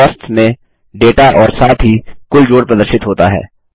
costs में data और साथ ही कुल जोड़ प्रदर्शित होता है